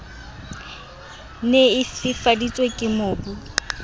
ne e fifaditswe ke mobu